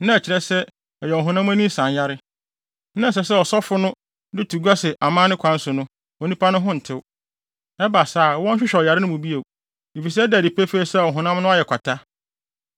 na ɛkyerɛ sɛ ɛyɛ ɔhonam ani nsanyare, na ɛsɛ sɛ ɔsɔfo no de to gua sɛ amanne kwan so no, onipa no ho ntew. Ɛba saa a, wɔnhwehwɛ ɔyare no mu bio, efisɛ ɛda adi pefee sɛ ɔhonam no ayɛ kwata.